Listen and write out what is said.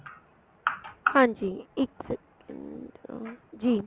ਹਾਂਜੀ ਇੱਕ second ਜੀ